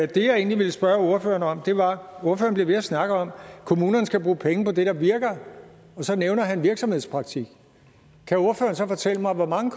det jeg egentlig ville spørge ordføreren om var hvorfor han bliver ved med at snakke om at kommunerne skal bruge penge på det der virker og så nævner han virksomhedspraktik kan ordføreren så fortælle mig hvor mange